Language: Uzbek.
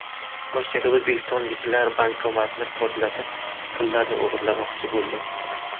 Rossiyada o‘zbekistonliklar bankomatni portlatib, pullarni o‘g‘irlamoqchi bo‘ldi.